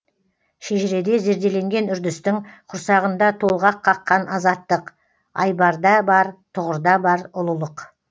шежіреде зерделенген үрдістің құрсағында толғақ қаққан азаттық айбарда бар тұғырда бар ұлылық